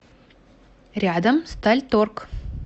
рядом стальторг